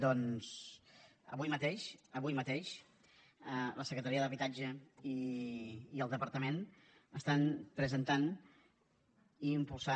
doncs avui mateix avui mateix la secretaria d’habitatge i el departament estan presentant i impulsant